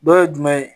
Dɔ ye jumɛn ye